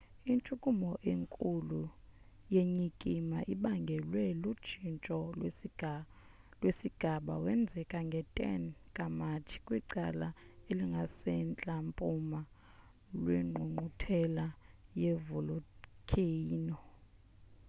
intshukumo enkulu yenyikima ibangelwe lutshintsho lwesigaba wenzeke nge-10 ka-matshi kwicala elingasemantla mpuma lwengqungquthela ye-volikheyino